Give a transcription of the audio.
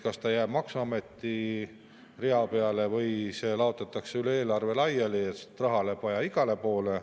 Kas ta jääb maksuameti rea peale või laotatakse üle eelarve laiali, sest raha läheb vaja igale poole.